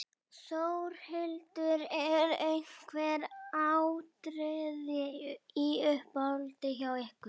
Þórhildur: Eru einhver atriði í uppáhaldi hjá ykkur?